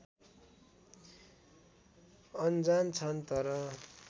अनजान छन् तर